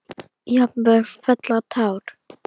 Jafnvel fella tár.